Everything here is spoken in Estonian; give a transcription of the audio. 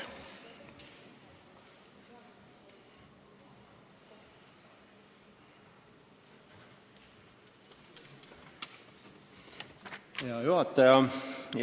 Hea juhataja!